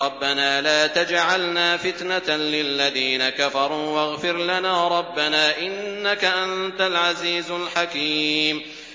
رَبَّنَا لَا تَجْعَلْنَا فِتْنَةً لِّلَّذِينَ كَفَرُوا وَاغْفِرْ لَنَا رَبَّنَا ۖ إِنَّكَ أَنتَ الْعَزِيزُ الْحَكِيمُ